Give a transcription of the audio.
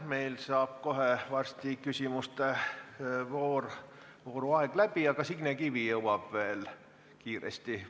Meil saab kohe varsti küsimuste vooru aeg läbi, aga Signe Kivi jõuab veel kiiresti küsida.